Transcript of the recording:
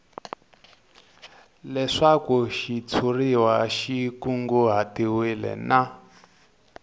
leswaku xitshuriwa xi kunguhatiwile na